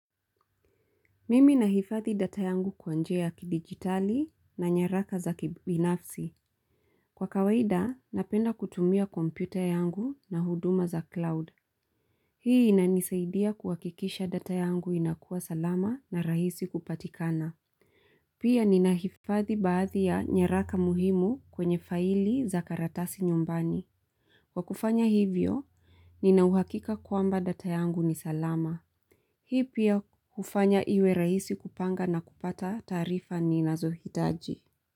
Mimi na hifadhi data yangu kwa njia kidigitali na nyaraka za kibinafsi. Kwa kawaida, napenda kutumia kompyuta yangu na huduma za cloud. Hii inanisaidia kuwakikisha data yangu inakua salama na rahisi kupatikana. Pia nina hifadhi baadhi ya nyaraka muhimu kwenye faili za karatasi nyumbani. Kwa kufanya hivyo, ninauhakika kwamba data yangu ni salama. Hii pia ufanya iwe rahisi kupanga na kupata taarifa ninazohitaji.